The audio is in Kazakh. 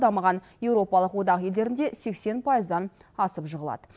дамыған еуропалық одақ елдерінде сексен пайыздан асып жығылады